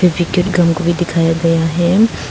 को भी दिखाया गया है।